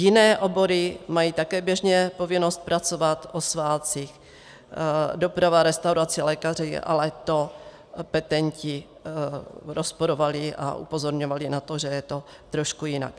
Jiné obory mají také běžně povinnost pracovat o svátcích, doprava, restaurace, lékaři, ale to petenti rozporovali a upozorňovali na to, že je to trošku jinak.